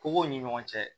Kogow ni ɲɔgɔn cɛ